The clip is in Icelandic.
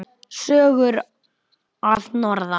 Sögur að norðan.